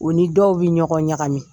U ni dɔw bɛ ɲɔgɔn ɲagami